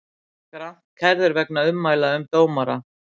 Grant kærður vegna ummæla um dómara